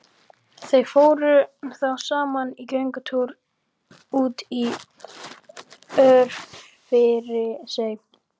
Þau fóru þá saman í göngutúr út í Örfirisey.